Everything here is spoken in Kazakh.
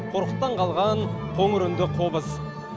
қорқыттан қалған қоңыр үнді қобыз